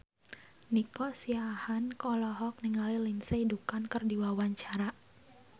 Nico Siahaan olohok ningali Lindsay Ducan keur diwawancara